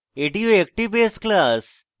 এটিও একটি base class